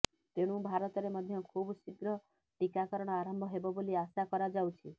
ତେଣୁ ଭାରତରେ ମଧ୍ୟ ଖୁବଶୀଘ୍ର ଟିକାକରଣ ଆରମ୍ଭ ହେବ ବୋଲି ଆଶା କରାଯାଉଛି